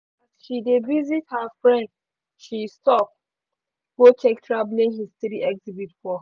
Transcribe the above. she dey visit her friend she stop go check traveling history exhibit for.